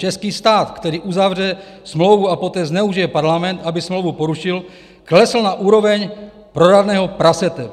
Český stát, který uzavře smlouvu a poté zneužije Parlament, aby smlouvu porušil, klesl na úroveň proradného prasete.